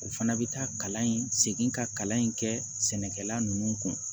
U fana bɛ taa kalan in segin ka kalan in kɛ sɛnɛkɛla ninnu kun